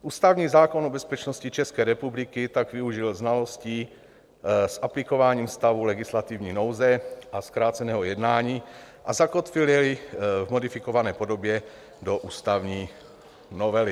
Ústavní zákon o bezpečnosti České republiky tak využil znalostí s aplikováním stavu legislativní nouze a zkráceného jednání a zakotvil jej v modifikované podobě do ústavní novely.